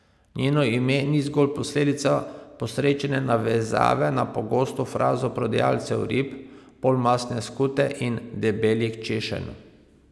Njeno ime ni zgolj posledica posrečene navezave na pogosto frazo prodajalcev rib, polmastne skute in debelih češenj.